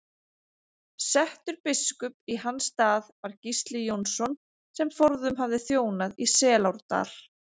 Settur biskup í hans stað var Gísli Jónsson sem forðum hafði þjónað í Selárdal.